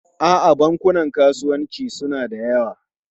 A'a, bankunan kasuwanci suna da yawa.